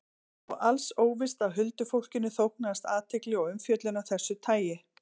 Og alls óvíst að huldufólkinu þóknaðist athygli og umfjöllun af þessu tagi.